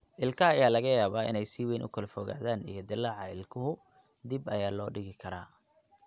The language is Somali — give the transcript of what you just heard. Ilkaha ayaa laga yaabaa inay si weyn u kala fogaadaan, iyo dillaaca ilkahu (ilmaha ama dadka waaweyn) dib ayaa loo dhigi karaa.